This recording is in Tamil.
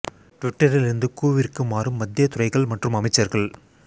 ட்விட்டரில் இருந்து கூ விற்கு மாறும் மத்திய துறைகள் மற்றும் அமைச்சர்கள்